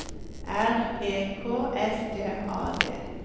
R E K S T A D